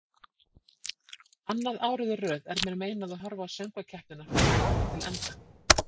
Annað árið í röð er mér meinað að horfa á söngvakeppnina frá upphafi til enda.